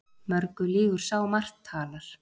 Mörgu lýgur sá margt talar.